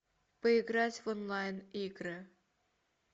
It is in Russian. поиграть в онлайн игры